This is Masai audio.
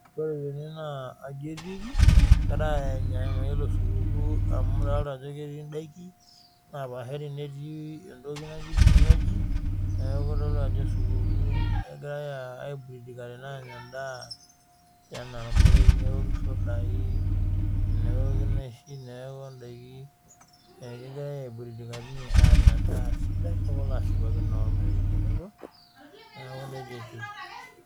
Ore tene naa atuaji etikii egirai anyaa supukuu amu adolita ketii daikin dapashari netii vinywaji neeku kitodolu Ajo supukuu agirai aiburudika tene Anya endaa newoki sidai nenyai edaiki neeku daiki egirai aiburudikare ormarei Anya tenebo neeku nejia etieu